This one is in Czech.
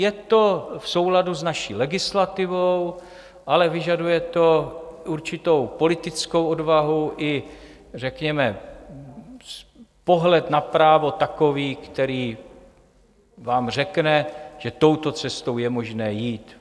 Je to v souladu s naší legislativou, ale vyžaduje to určitou politickou odvahu, i řekněme pohled na právo takový, který vám řekne, že touto cestou je možné jít.